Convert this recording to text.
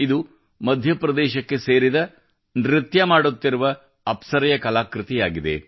ಇದು ಮಧ್ಯಪ್ರದೇಶಕ್ಕೆ ಸೇರಿದ ನೃತ್ಯ ಮಾಡುತ್ತಿರುವ ಅಪ್ಸರೆ ಯ ಕಲಾಕೃತಿಯಾಗಿದೆ